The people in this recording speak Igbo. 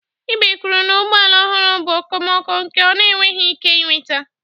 Ibe kwuru na ụgbọ ala ọhụrụ bụ okomoko nke ọ na-enweghị ike ị nweta.